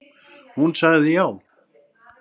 Hún sagði já.